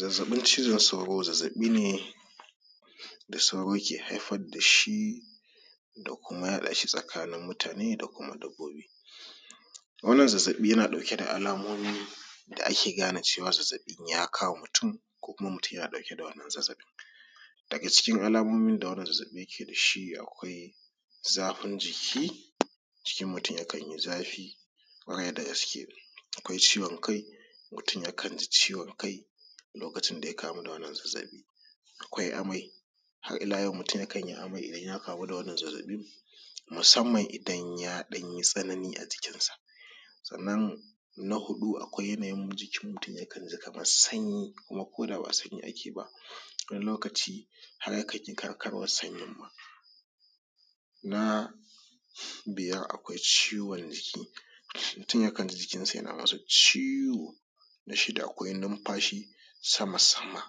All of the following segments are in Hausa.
Zazzaɓin cizon sauro zazzaɓi ne da sauro ke haifar da shi da kuma yaɗa shi ga mutane da sauran dabbobi. Wannan zazzaɓi yanada alamomin da ake gane zazzaɓi ya kama mutum ko kuma Mutum na dauke da wannan zazzaɓin, daga cikin alamomin da wannan zazzaɓin yake da shi akwai zafin jiki, jikin mutum yakan yi zafi kwarai dagaske, akwai ciwon kai mutum yakan ji ciwon kai lokacin da ya kamu da wannan zazzaɓin. Akwai amai, mutum yakan yi amai idan ya kamu da wannan zazzaɓin musamman idan y ɗan yi tsanani a jikinsa. Sannan na huɗu akwai yanayin jikin mutum yakan ji kamar sanyi duk da ba sanyi ake ba, wani lokaci har akan yi kyarmar sanyi ma. Na biyar akwai ciwon jiki, mutum yakan ji jikinsa na masa ciwo. Na shida akwai nunfashi sama-sama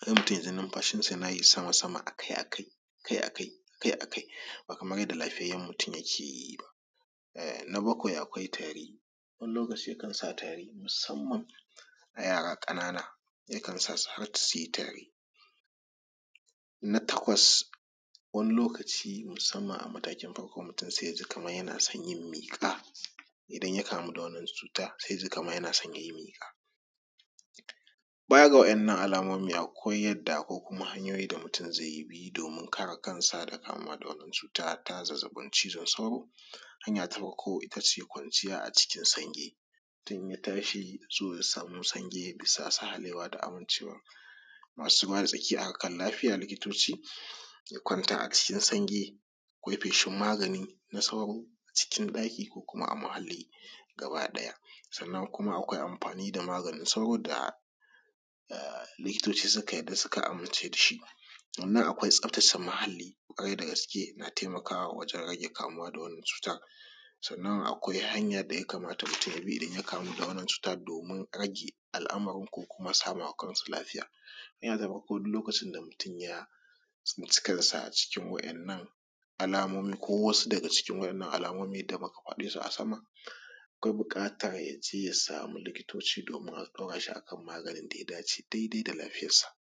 sai mutum ya ji yan numfashi a kai a kai, ba kamar yadda lafiyayyen mutum yake yi ba. Na bakwai akwai tari, wani lokaci yakan sa taei musamman yara ƙanana su yi tari. Na takwas wani lokaci musamman a matakin farko kamar yana son yin miƙa idan ya kamu da wannan cuta sai ya ji kamar yana son ya yi miƙa. Baya ga waɗannan alamomin da akwai yadda ko hanyoyin da mutum zai bi domin kare kansa daga wannan cuta na zazzaɓin cizon sauro. Hanya ta uku ita ce, kwanciya a ciki sanyi mutum isan ya tashi so ya sama sahalewa bisa masu ruwa da tsaki a harkar lafiya likitoci ya kwanta a cikin sanyi ya yi feshin magani na sauro cikin ɗaki ko a muhalli gaba ɗaya. Sannan kuma akwai amfani da maganin sauro wanda likitoci suka amince da shi. Sannan akwai tsafatace muhalli wajen rage kamuwa da wannan cutar. Sannan akwai hanya da mutu ya kamata ya bi da wannan cuta domin rage al'amarin ko kuma sama wa kansa lafiya. Ni yanzu fa duk lokacin da mutum ya tsinci kansa cikin waɗannan alamomin ko wasu daga ciki waɗannan alamomin da muka fade su a sama akwai buƙatar ya je ya samu likitoci domin a ɗaura shi a kan maganin da ya dace daidai da lafiyarsa.